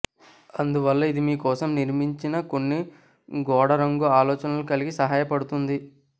అందువల్ల ఇది మీ కోసం నిర్మించిన కొన్ని గోడ రంగు ఆలోచనలు కలిగి సహాయపడుతుంది